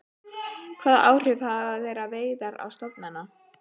Hvaða áhrif hafa þeirra veiðar á stofnana?